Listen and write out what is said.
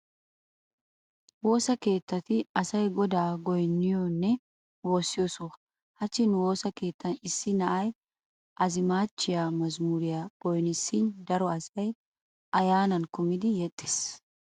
Woosa keetay asay godaa goynniyonne woossiyo soho. Hachchi nu woosa keettan issi na'ay azimaachchiya mazamuriyan goynissishin daro asay ayyaanan kumidi yeexxees.